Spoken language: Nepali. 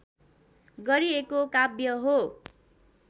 गरिएको काव्य हो